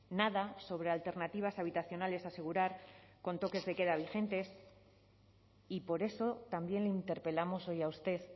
nada sobre alternativas habitacionales asegurar con toques de queda vigentes y por eso también le interpelamos hoy a usted